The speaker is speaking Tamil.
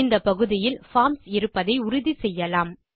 இந்த பகுதியில் பார்ம்ஸ் இருப்பதை உறுதிசெய்யலாம்